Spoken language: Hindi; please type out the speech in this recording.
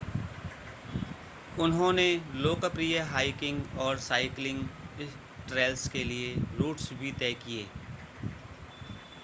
उन्होंने लोकप्रिय हाइकिंग और साइक्लिंग ट्रैल्स के लिए रूट्स भी तय किए